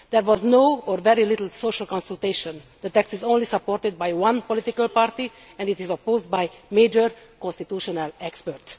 There was no, or very little, social consultation. The text is only supported by one political party and it is opposed by major constitutional experts.